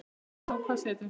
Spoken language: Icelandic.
Sjáum nú hvað setur.